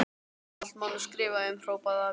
Allt má nú skrifa um, hrópaði afi.